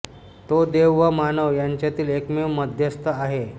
तो देव व मानव यांच्यातील एकमेव मध्यस्थ आहे